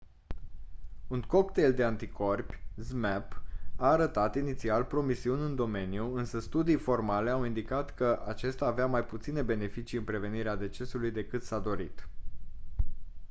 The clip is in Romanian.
un cocktail de anticorpi zmapp a arătat inițial promisiuni în domeniu însă studii formale au indicat că acesta avea mai puține beneficii în prevenirea decesului decât s-a dorit